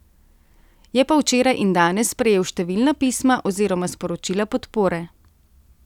Je pa včeraj in danes prejel številna pisma oziroma sporočila podpore.